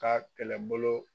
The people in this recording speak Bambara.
K'a kɛlɛbolo.